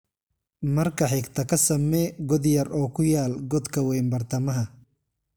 Marka xigta ka samee god yar oo ku yaal godka weyn bartamaha.